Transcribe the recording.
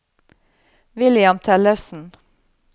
William Tellefsen